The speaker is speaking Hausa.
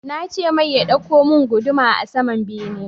Nace mai ya ɗauko mun guduma a saman bene